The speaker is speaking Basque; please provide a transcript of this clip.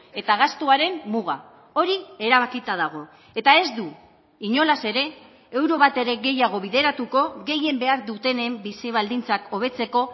eta gastuaren muga hori erabakita dago eta ez du inolaz ere euro bat ere gehiago bideratuko gehien behar dutenen bizi baldintzak hobetzeko